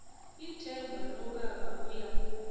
ithemba lokaba uya